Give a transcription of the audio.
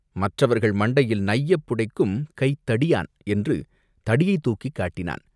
மற்றவர்கள் மண்டையில் நையப்புடைக்கும் கைத்தடியான்!" என்று தடியைத் தூக்கிக் காட்டினான்.